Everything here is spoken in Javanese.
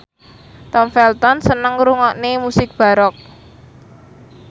Tom Felton seneng ngrungokne musik baroque